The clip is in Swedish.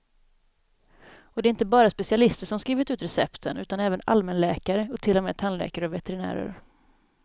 Och det är inte bara specialister som skrivit ut recepten, utan även allmänläkare och till och med tandläkare och veterinärer.